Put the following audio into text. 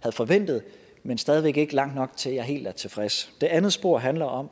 havde forventet men stadig væk ikke langt nok til at jeg er helt tilfreds det andet spor handler om